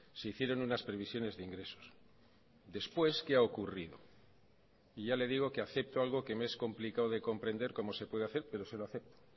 se hicieron unas previsiones de ingresos después qué ha ocurrido y ya le digo que acepto algo que me es complicado de comprender cómo se puede hacer pero se lo acepto